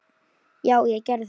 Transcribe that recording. Já, ég gerði þetta!